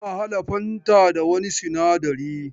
Ana hada fanta da wani sinadari.